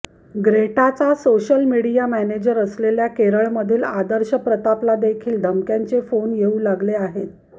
ग्रेटाचा social media manager असलेल्या केरळमधील आदर्श प्रतापलादेखील धमक्यांचे फोन येऊ लागले आहेत